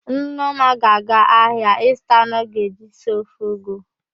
Nneọma ga-aga ahịa ịzụta anụ ọ ga-eji si ofe ụgụ.